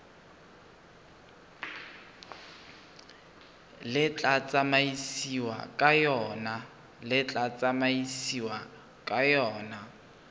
le tla tsamaisiwang ka yona